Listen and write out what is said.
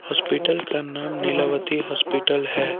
Hospital का नाम Nilavati hospital है।